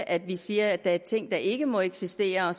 at vi siger at der er ting der ikke må eksistere